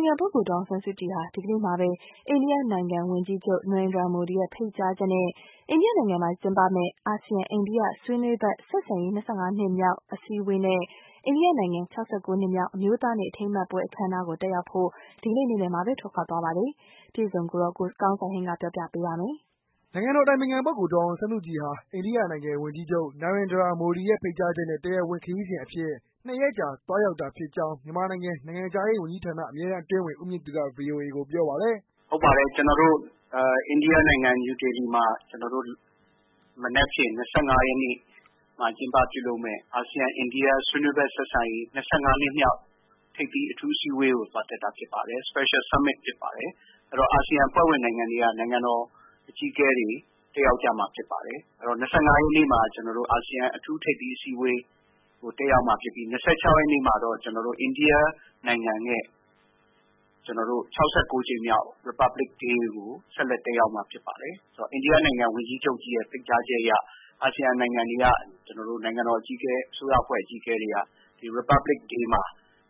င်ခံပုဂ္ဂိုလ် ဒေါ်အောင်ဆန်းစုကြည်ဟာ ဒီကနေ့မှာဘဲ အိန္ဒိယနိုင်ငံ ဝန်ကြီးချုပ် နာရင်ဒရာမိုဒီရဲ့ ဖိတ်ကြားချက်နဲ့ အိန္ဒိယနိုင်ငံမှာ ကျင်းပမယ့် အာဆီယံ-အိန္ဒိယဆွေးနွေးဖက် ဆက်ဆံရေး နှစ်မြောက်အစည်းအဝေးနဲ့ အိန္ဒိယနိုင်ငံ နှစ်မြောက် အမျိုးသားနေ့ အထိမ်းအမှတ်ပွဲ အခမ်းအနားကို တက်ရောက်ဖို့ ဒီကနေ့ နေ့လည်က ပဲထွက်ခွာသွားပြီဖြစ်ပါတယ်။ အပြည့်အစုံကိုတော့ ကိုကောင်းစံဟိန်းက ပြောပြပေးမှာပါ။ ဒေါ်အောင်ဆန်းစုကြည်ဟာ အိန္ဒိယနိုင်ငံ ဝန်ကြီးချုပ် နာရင်ဒရာမိုဒီရဲ့ ဖိတ်ကြားချက်နဲ့ တရားဝင် ခရီးစဉ်အဖြစ် ၂ ရက်ကြာ သွားရောက် တာဖြစ်ကြောင်း မြန်မာနိုင်ငံ နိုင်ငံခြားရေးဝန်ကြီးဌာန အမြဲတန်းအတွင်းဝန် ဦးမြင့်သူက ဗွီအိုအေကို ပြောပါတယ်။ "ဟုတ်ပါတယ်။ကျနေ်ာတို့ အိန္ဒိယနိုင်ငံ နယူူးဒေလီမှာ မနက်ဖြန်၂၅ရက်နေ့ မှာကျင်းပပြုလုပ်မယ့် အာဆီယံ-အိန္ဒိယဆွေးနွေးဖက်ဆက်ဆံရေး ၂၅နှစ်မြောက် ထိပ်သီးအထူးအစည်းအဝေးကို သွားတက်တာဖြစ်ပါတယ်။Special Summitဖြစ်ပါတယ်။အာဆီယံအဖွဲ့ဝင်နိုင်ငံတွေက နိုင်ငံတော်အကြီးအကဲတွေ တက်ရောက် ကြမှာဖြစ်ပါတယ်။အဲတော့ ၂၅ရက်နေ့မှာ အာဆီယံ အထူးထိပ်သီးအစည်း အဝေး တက်ရောက်မှာဖြစ်ပြီး ၂၆ရက်နေ့မှာတော့ ကျနော်တို့ အိန္ဒိယနိုင်ငံရဲ့ ၆၉ကြိမ်မြောက် Republic Day ကို ဆက်လက်တက်ရောက်မှာဖြစ်ပါတယ်။ဆိုတော့ အိန္ဒိယနိုင်ငံ ဝန်ကြီးချုပ်ကြီးရဲ့ဖိတ်ကြားချက်အရ အာဆီယံနိုင်ငံတွေက ကျနော်တို့ အစိုးရအဖွဲ့အကြီးအကဲတွေက ဒီ Republic Day မှာ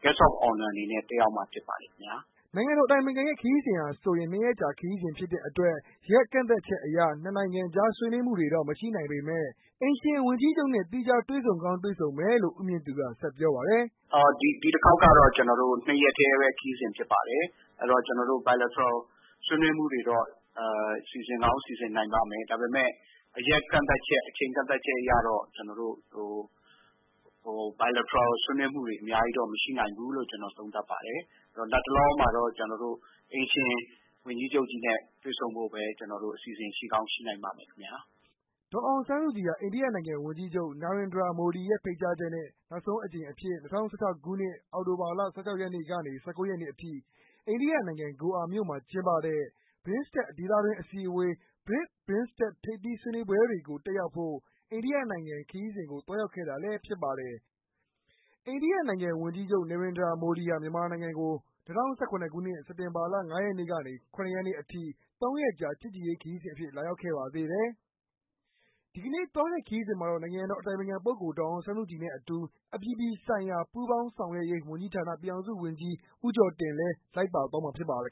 Guest of Honor အနေနဲ့ တက်ရောက်မှာဖြစ်ပါတယ်ခင်ဗျာ။" နိုင်ငံတော်အတိုင်ပင်ခံရဲ့ ခရီးစဉ်ဟာဆိုရင် ၂ရက်ကြာခရီးစဉ်ဖြစ်တဲ့အတွက် ရက်ကန့်သတ်ချက် အရ နှစ်နိုင်ငြံကားဆွေးနွေးမှုတွေတော့ မရှိနိုင်ပေမယ့် အိမ်ရှင်ဝန်ကြီးချုပ်နဲ့ သီးခြား တွေ့ဆုံကောင်း တွေ့ဆုံမယ်လို့ ဦးမြင့်သူက ဆက်ပြော ပါတယ်။ " ဒီတခေါက်ကတော့ ကျနော်တို့ ၂ရက်တည်းဘဲဖြစ်ပါတယ်။အဲတော့ ကျနော်တို့ Bilateral ဆွေးနွေးမှုတွေတော့ စီစဉ်ကောင်းစီစဉ်နိုင်ပါ့မယ်။ဒါပေမယ့် ရက်ကန့်သတ်ချက် အချိန်ကန့်သတ်ချက် အရတော့ ကျနော်တို့ Bilateral ဆွေးနွေးမယ့်ဟာတွေ အများကြီးတော့ မရှိနိုင်ဖူးလို့ ကျနော် သုံးသပ်ပါတယ်။လတ်တလောမှာတော့ ကျနော်တို့ အိမ်ရှင်ဝန်ကြီးချုပ်ကြီး နဲ့တွေ့ဆုံဖို့ဘဲ အစီစဉ်ရှိကောင်းရှိနိုင်ပါမယ် ခင်ဗျာ။" ဒေါ်အောင်ဆန်းစုကြည်ဟာ အိန္ဒိယဝန်ကြီးချုပ် Narendra Modi ရဲ့ ဖိတ်ကြားချက်နဲ့ ၂၀၁၆ခုနှစ် အောက်တိုဘာလ ၁၆ ရက်နေ့ကနေ ၁၉ ရက်နေ့ အထိ အိန္ဒိယနိုင်ငံ ဂိုအာမြို့မှာ ကျင်းပတဲ့ BIMSTEC ဒေသတွင်းအစည်းအဝေး ၊ BRICS-BIMSTEC ထိပ်သီးဆွေးနွေးပွဲတွေကို တက်ရောက်ဖို့ အိန္ဒိယနိုင်ငံကို သွားရောက်ခဲ့ဖူးပါတယ်။ အိန္ဒိယဝန်ကြီးချုပ် နေရိန်ဒရာ မိုဒီဟာ မြန်မာနိုင်ငံကို စက်တင်ဘာလ ၅ ရက်နေ့ ကနေ ၇ ရက်နေ့ အထိ ၃ ရက်ကြာ ချစ်ကြည်ရေး ခရီးစဉ်အဖြစ် လာရောက်ခဲ့ပါသေးတယ်။ ဒီကနေ့ သွားတဲ့ခရီးစဉ်မှာတော့ နိုင်ငံတော်၏ အတိုင်ပင်ခံပုဂ္ဂိုလ် ဒေါ်အောင်ဆန်းစုကြည် နဲ့ အတူ အပြည်ပြည်ဆိုင်ရာပူးပေါင်းဆောင်ရွက်ရေး ဝန်ကြီးဌာနပြည်ထောင်စုဝန်ကြီး ဦးကျော်တင် လည်း လိုက်ပါသွားမှာဖြစ်ပါတယ်